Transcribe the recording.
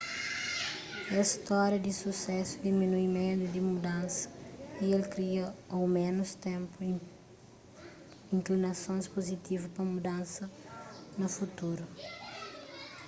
es stória di susésu diminui médu di mudansa y el kria au mésmu ténpu inklinasons puzitivu pa mudansa na futuru